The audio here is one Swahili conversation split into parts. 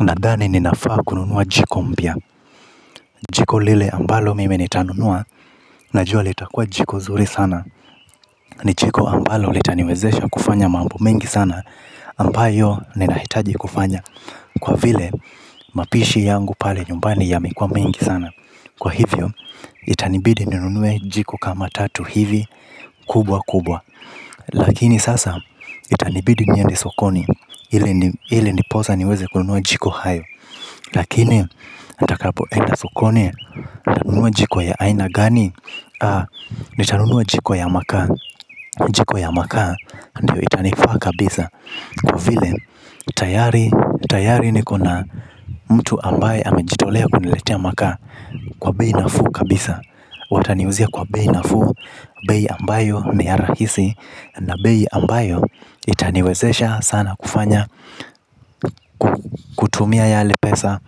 Nadhani ninafaa kununua jiko mpya jiko lile ambalo mimi nitanunua najua litakuwa jiko zuri sana. Ni jiko ambalo litaniwezesha kufanya mambo mengi sana ambayo ninahitaji kufanya kwa vile mapishi yangu pale nyumbani yamekuwa mengi sana kwa hivyo itanibidi ninunue jiko kama tatu hivi kubwa kubwa lakini sasa itanibidi niende sokoni ili ndiposa niweze kununua jiko hayo. Lakini nitakapoenda sokoni nitanunua jiko ya aina gani, nitanunua jiko ya makaa, jiko ya makaa ndiyo itanifaa kabisa. Kwa vile tayari, tayari niko na mtu ambaye amejitolea kuniletea makaa kwa bei nafuu kabisa. Wataniuzia kwa bei nafuu, bei ambayo ni ya rahisi. Na bei ambayo itaniwezesha sana kufanya kutumia yale pesa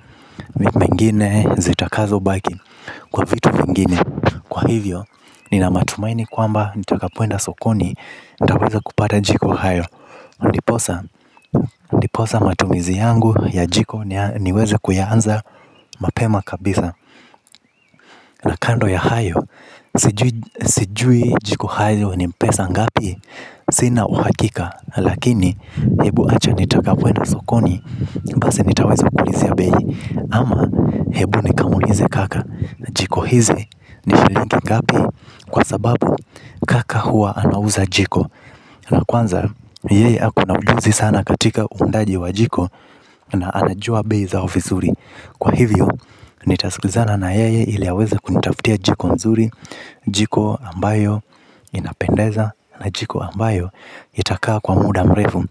mengine zitakazobaki kwa vitu vingine kwa hivyo nina matumaini kwamba nitakapoenda sokoni nitaweza kupata jiko hayo na ndiposa ndiposa matumizi yangu ya jiko niweze kuyaanza mapema kabisa. Na kando ya hayo, sijui jiko hayo ni pesa ngapi, sina uhakika, lakini hebu acha nitakapoenda sokoni, basi nitaweza kuulizia bei, ama hebu nikamuulize kaka jiko hizi ni shilingi ngapi kwa sababu kaka huwa anauza jiko. Na kwanza, yeye ako na ujuzi sana katika uundaji wa jiko na anajua bei zao vizuri kwa hivyo nitasikizana na yeye ili aweze kunitafutia jiko nzuri. Jiko ambayo inapendeza na jiko ambayo itakaa kwa muda mrefu.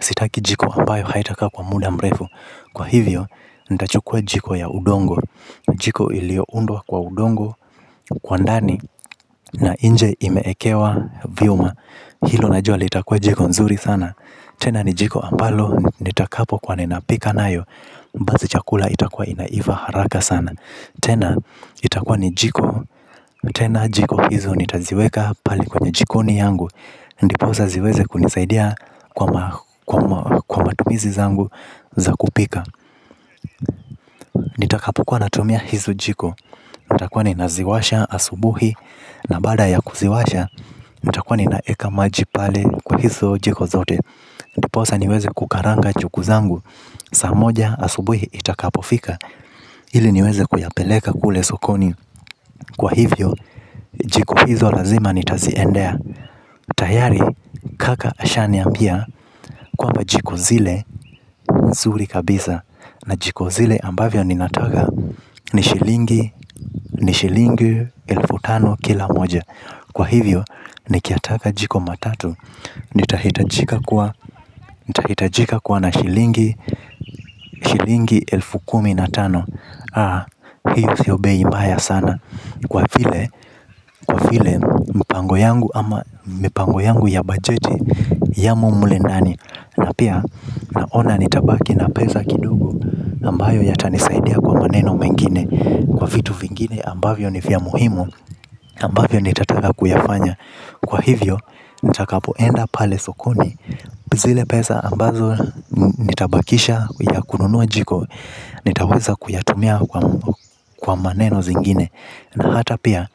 Sitaki jiko ambayo haitakaa kwa muda mrefu kwa hivyo, nitachukua jiko ya udongo. Jiko iliyoundwa kwa udongo kwa ndani na nje imewekewa vyuma. Hilo najua litakuwa jiko nzuri sana. Tena ni jiko ambalo nitakapokuwa ninapika nayo basi chakula itakuwa inaiva haraka sana tena itakuwa ni jiko. Tena jiko hizo nitaziweka pale kwenye jikoni yangu. Ndiposa ziweze kunisaidia kwa matumizi zangu za kupika. Nitakapo kwa natumia hizu jiko nitakuwa ninaziwasha asubuhi na baada ya kuziwasha nitakuwa ninaweka maji pale kwa hizo jiko zote. Ndiposa niweze kukaranga njugu zangu saa moja asubuhi itakapofika ili niweze kuyapeleka kule sokoni. Kwa hivyo jiko hizo lazima nitaziendea. Tayari kaka ashaniambia kwamba jiko zile nzuri kabisa. Na jiko zile ambavyo ninataka ni shilingi ni shilingi elfu tano kila moja kwa hivyo nikiyataka jiko matatu nitahitajika kuwa nitahitajika kuwa na shilingi. Shilingi elfu kumi na tano hiyo siyo bei mbaya sana kwa vile mpango yangu ama mipango yangu ya bajeti yamo mle nani na pia naona nitabaki na pesa kidogo ambayo yatanisaidia kwa maneno mengine kwa vitu vingine ambavyo ni vya muhimu ambavyo nitataka kuyafanya kwa hivyo nitakapoenda pale sokoni zile pesa ambazo nitabakisha ya kununua jiko. Nitaweza kuyatumia kwa maneno zingine na hata pia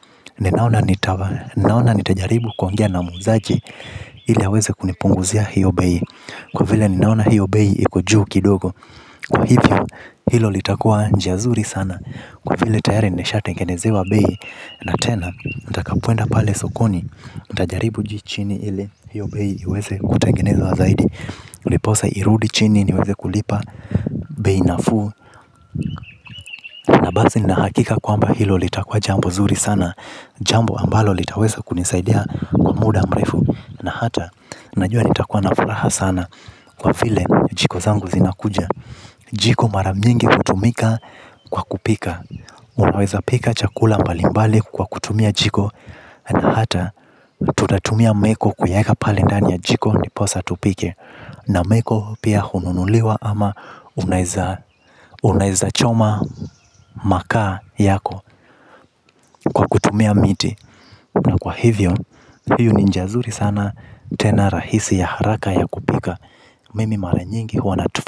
ninaona nitajaribu kuongea na muuzaji ile aweze kunipunguzia hiyo bei kwa vile ninaona hiyo bei iko juu kidogo kwa hivyo hilo litakuwa njia zuri sana kwa vile tayari nishatengenezewa bei na tena nitakapoenda pale sokoni nitajaribu juu chini ili hiyo bei iweze kutengenezwa zaidi ndiposa irudi chini niweze kulipa bei nafuu na basi nina hakika kwamba hilo litakuwa jambo zuri sana jambo ambalo litaweza kunisaidia kwa muda mrefu na hata najua nitakuwa na furaha sana kwa vile jiko zangu zinakuja. Jiko mara mingi hutumika kwa kupika. Unaweza pika chakula mbalimbali kwa kutumia jiko. Na hata tutatumia meko kuiweka pale ndani ya jiko ndiposa tupike. Na meko pia hununuliwa ama unaweza choma makaa yako kwa kutumia miti na kwa hivyo hiyo ni njia zuri sana tena rahisi ya haraka ya kupika. Mimi mara nyingi huwa natufa.